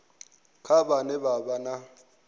kana vhane vha vha na